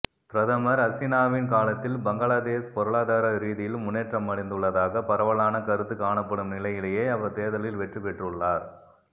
பிரதமர் ஹசீனாவின் காலத்தில் பங்களாதேஸ் பொருளாதார ரீதீயில் முன்னேற்றமடைந்துள்ளதாக பரவலான கருத்து காணப்படும் நிலையிலேயே அவர் தேர்தலில் வெற்றிபெற்றுள்ளார்